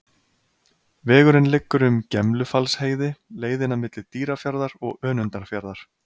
Vegurinn liggur um Gemlufallsheiði, leiðina milli Dýrafjarðar og Önundarfjarðar.